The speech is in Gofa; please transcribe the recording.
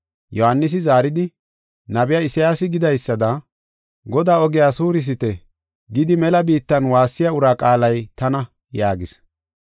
Yohaanisi zaaridi, “Nabiya Isayaasi gidaysada, “ ‘Godaa ogiya suurisite!’ gidi mela biittan waassiya uraa qaalay tana” yaagis.